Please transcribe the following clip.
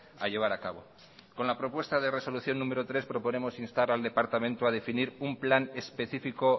a llevar a cabo con la propuesta de resolución número tres proponemos instar al departamento a definir un plan específico